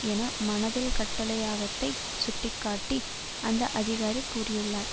என மனதில் கட்டளையகத்தை சுட்டி காட்டி அந்த அதிகாரி கூறியுள்ளார்